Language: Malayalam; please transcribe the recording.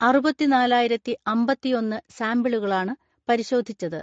അറുപത്തിനാലായിരത്തിഅമ്പത്തിഒന്ന് സാമ്പിളുകളാണ് പരിശോധിച്ചത്.